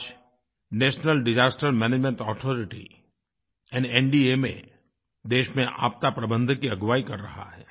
आज national disaster management authority यानी NDMA देश में आपदाप्रबंधन की अगुवाई कर रहा है